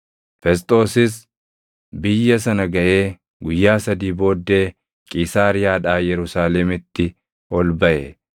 Fesxoosis biyya sana gaʼee guyyaa sadii booddee Qiisaariyaadhaa Yerusaalemitti ol baʼe;